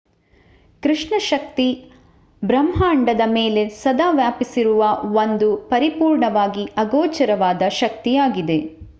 ಕೃಷ್ಣ ಶಕ್ತಿ ಬ್ರಹಾಂಡದ ಮೇಲೆ ಸದಾ ವ್ಯಾಪಿಸಿರುವ ಒಂದು ಪರಿಪೂರ್ಣವಾಗಿ ಆಗೋಚರವಾದ ಶಕ್ತಿಯಾಗಿದೆ